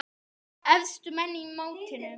Efstu menn í mótinu